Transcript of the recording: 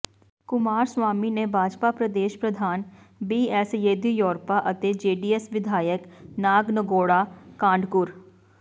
ਕੁਮਾਰਸਵਾਮੀ ਨੇ ਭਾਜਪਾ ਪ੍ਰਦੇਸ਼ ਪ੍ਰਧਾਨ ਬੀਐਸ ਯੇਦੀਯੁਰੱਪਾ ਅਤੇ ਜੇਡੀਐਸ ਵਿਧਾਇਕ ਨਾਗਨਗੌੜਾ ਕਾਂਡਕੁਰ